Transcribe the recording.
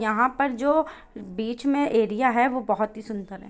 यहां पर जो बीच में एरिया है वो बहुत ही सुन्दर है।